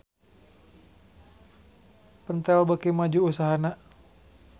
Pentel beuki maju usahana